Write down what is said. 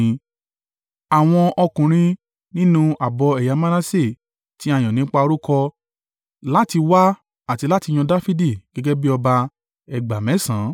àwọn ọkùnrin nínú ààbọ̀ ẹ̀yà Manase, tí a yàn nípa orúkọ láti wá àti láti yan Dafidi gẹ́gẹ́ bí ọba, ẹgbàá mẹ́sàn (18,000).